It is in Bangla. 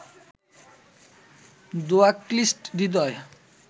ধোঁয়াক্লিষ্ট হৃদয়